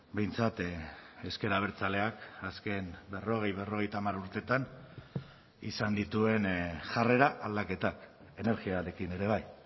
behintzat ezker abertzaleak azken berrogei berrogeita hamar urteetan izan dituen jarrera aldaketak energiarekin ere bai